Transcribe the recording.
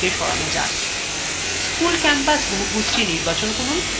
school campus বহুভুজ নির্বাচন করুন